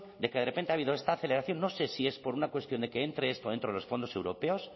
de que de repente ha habido esta aceleración no sé si es por una cuestión de que entre esto dentro de los fondos europeos